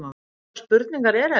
Hvurslags spurningar eru þetta?